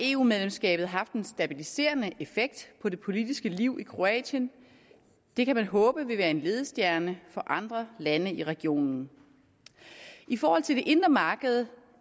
eu medlemskabet haft en stabiliserende effekt på det politiske liv i kroatien det kan man håbe vil være en ledestjerne for andre lande i regionen i forhold til det indre marked